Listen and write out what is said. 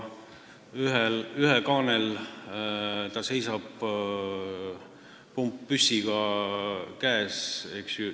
Ühe kaanel ta seisab, pumppüss käes.